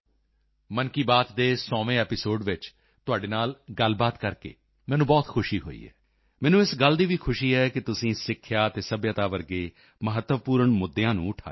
thank you madam Mann Ki Baat ਦੇ 100ਵੇਂ episode ਵਿੱਚ ਤੁਹਾਡੇ ਨਾਲ ਸੰਪਰਕ ਕਰਕੇ ਮੈਨੂੰ ਬਹੁਤ ਖੁਸ਼ੀ ਹੋਈ ਹੈ ਮੈਨੂੰ ਇਸ ਗੱਲ ਦੀ ਵੀ ਖੁਸ਼ੀ ਹੈ ਕਿ ਤੁਸੀਂ ਸਿੱਖਿਆ ਅਤੇ ਸੱਭਿਅਤਾ ਵਰਗੇ ਮਹੱਤਵਪੂਰਣ ਮੁੱਦਿਆਂ ਨੂੰ ਉਠਾਇਆ ਹੈ